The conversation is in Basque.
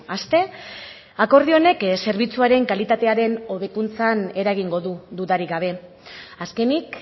aste akordio honek zerbitzuaren kalitatearen hobekuntzan eragingo du dudarik gabe azkenik